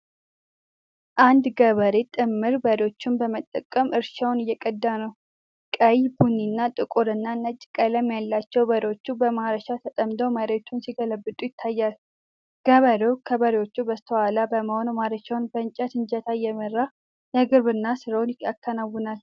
አንድ ገበሬ ጥምር በሬዎችን በመጠቀም እርሻውን እየቀዳ ነው። ቀይ ቡኒና ጥቁርና ነጭ ቀለም ያላቸው በሬዎቹ በማረሻ ተጠምደው መሬቱን ሲገለብጡ ይታያል። ገበሬው ከበሬዎቹ በስተኋላ በመሆን ማረሻውን በእንጨት እጀታ እየመራ የግብርና ሥራውን ያከናውናል።